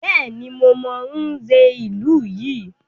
Bẹ́ẹ̀ni, mo mọ Nze ìlú yìí.